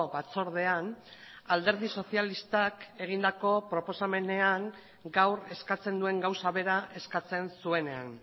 batzordean alderdi sozialistak egindako proposamenean gaur eskatzen duen gauza bera eskatzen zuenean